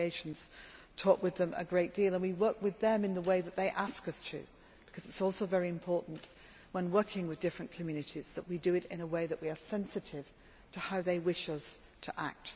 Our delegations talk with them a great deal and we work with them in the way that they ask us to because it is also very important, when working with different communities, that we do it in a way that is sensitive to how they wish us to act.